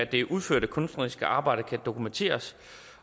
det udførte kunstneriske arbejde kan dokumenteres